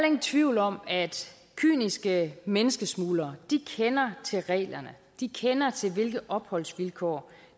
ingen tvivl om at kyniske menneskesmuglere kender til reglerne de kender til hvilke opholdsvilkår